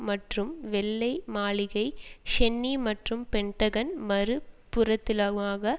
மற்றும் வெள்ளை மாளிகை ஷென்னி மற்றும் பென்டகன் மறு புறத்திலுமாக